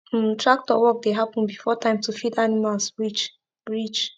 um tractor work dey happen before time to feed animals reach reach